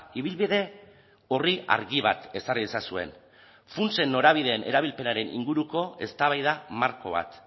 ibilbide orri argi bat ezarri ezazuen funtsen norabideen erabilpenaren inguruko eztabaida marko bat